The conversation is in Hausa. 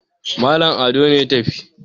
Malam Ado ne ya tafi